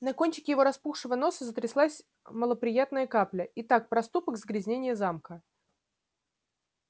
на кончике его распухшего носа затряслась малоприятная капля итак проступок загрязнение замка